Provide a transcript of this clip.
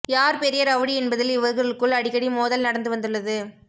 யார் பெரிய ரவுடி என்பதில் இவர்களுக்குள் அடிக்கடி மோதல் நடந்து வந்துள்ளது